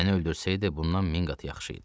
Məni öldürsəydi, bundan min qat yaxşı idi.